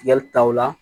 Tigɛli taw la